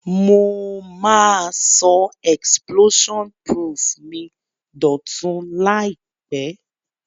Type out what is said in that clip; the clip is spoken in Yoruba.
Mo ma so explosion proof mi dòtun làìpé